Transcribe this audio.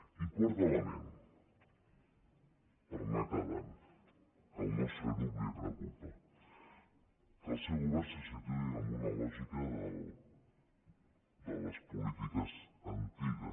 i quart element per anar acabant que al nostre grup li preocupa que el seu govern se situï en una lògica de les polítiques antiga